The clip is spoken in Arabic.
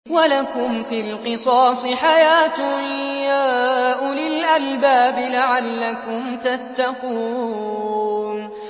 وَلَكُمْ فِي الْقِصَاصِ حَيَاةٌ يَا أُولِي الْأَلْبَابِ لَعَلَّكُمْ تَتَّقُونَ